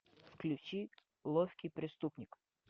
включи ловкий преступник